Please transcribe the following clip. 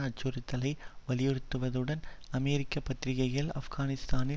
அச்சுறுத்தலை வலியுறுத்துவதுடன் அமெரிக்க பத்திரிகைகள் ஆப்கானிஸ்தானில்